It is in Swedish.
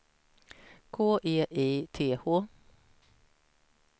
K E I T H